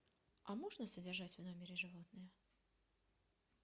а можно содержать в номере животное